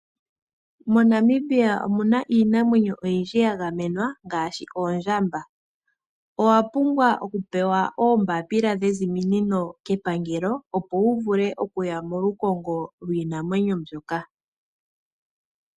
MoNamibia omu na iinamwenyo oyindji ya gamenwa ngaashi oondjamba. Owa pumbwa okupewa oombaapila dheziminino kepangelo opo wu vule okuya molukongo lwiinamwenyo mbyoka.